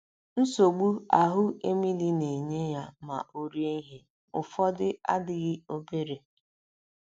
Nsogbu ahụ́ Emily na - enye ya ma o rie ihe ụfọdụ adịghị obere.